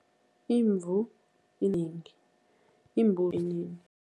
Imvu imbuzi